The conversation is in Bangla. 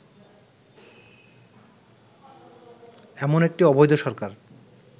এমন একটি অবৈধ সরকার